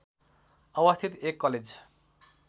अवस्थित एक कलेज